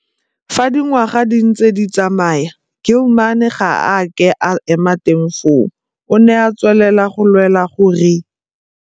Fa dingwaga di ntse di tsamaya Gilman ga a ke a ema teng foo, o ne a tswelela go lwela gore.